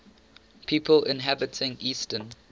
people inhabiting eastern